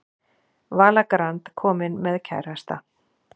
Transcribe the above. Vala Grand komin með kærasta